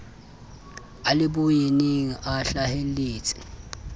a le boyeneng a hlaheletse